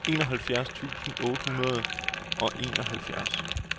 enoghalvfjerds tusind otte hundrede og enoghalvfjerds